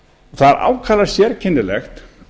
það er ákaflega sérkennilegt